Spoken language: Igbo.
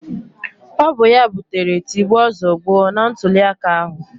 Ọ bụ ya butere tigbuo zọgbuo na ntụliaka ahụ